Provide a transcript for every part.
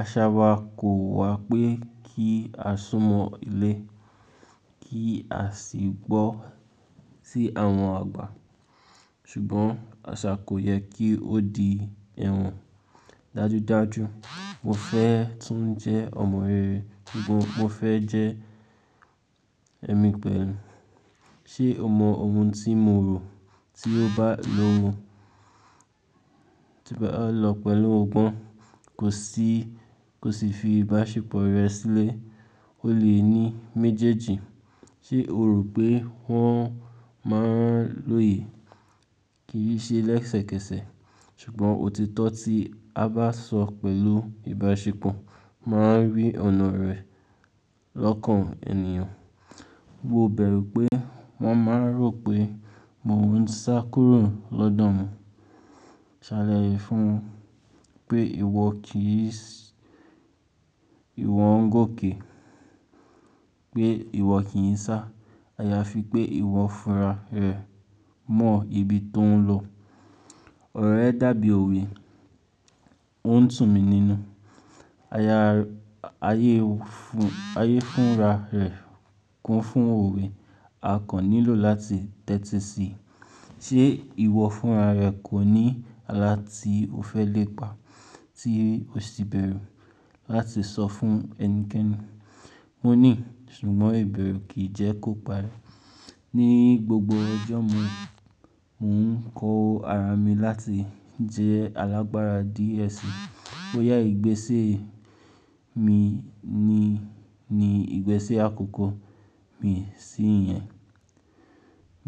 aṣa wa kò wà pé kí a súnmọ́ ilé, kí a sì gbọ́ sí àwọn àgbà. Ṣùgbọ́n àṣà kò yẹ kí ó di ẹ̀wọ̀n. Dájúdájú, mo fẹ́ tún jẹ́ ọmọ rere ṣùgbọ́n mo fẹ́ jẹ́ ẹ̀mí pẹ̀lú. Ṣé o mọ ohun tí mo rò? Tí o bá lo lọ pẹ̀lú ọgbọ́n, kò sì, kò sì fi ìbáṣepọ̀ rẹ sílẹ̀, o lè ní méjèèjì. Ṣé o rò pé wọ́n máa ń lóye? Kì í ṣe lẹ́sẹ̀kẹsẹ̀, ṣùgbọ́n òtítọ́ tí a bá sọ pẹ̀lú ìbáṣepọ̀ máa ń rí ọ̀nà rẹ̀ lọ́kàn ènìyàn. Mo bẹ̀rù pé wọ́n máa n rò pé mo ń sa kúrò lọ́dọ̀ wọn. Ṣàlàyé fún wọn pé ìwọ kì í ṣẹ́, ìwọ ń gòkè. Pé ìwọ kì í sá, aya fi pé ìwọ funra rẹ̀ mọ ibi tó ń lọ. Ọ̀ro rẹ́ dàbí òwe, ó ń tù mí nínú. Aya, ayé funra rẹ̀ kún fún òwe, a kàn nílò láti tẹ́tí si. Ṣé ìwọ funra rẹ kò ní ala tí o fẹ́ lépa tí o sì bẹ̀rù láti sọ fún ẹnikẹ́ni? Mo ní ṣùgbọ́n ìbẹ̀rù kì í jẹ́ kóparí. Ni gbogbo ọjọ́ mi, mò ń kọ ara mi láti jẹ́ alágbára díẹ̀ sí i. Ó yá ìgbésẹ́ mi ni, ni ìgbésẹ́ àkọ́kọ́ mi sí ìyẹn.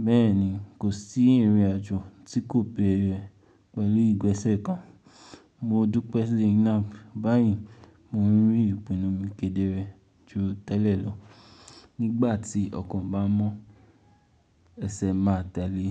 Bẹ́ẹ̀ ni, kò sí ìrìnàjò tí kò bẹ̀rẹ̀ pẹ̀lú ìgbésẹ̀ kan. Mo dúpẹ́ Zainab, báyìí mò ń rí ìpinnu mi kedere ju tẹ́lẹ̀ lọ. Nígbà tí ọ̀kan bá mọ ẹsẹ̀ máa tẹ́lẹ̀.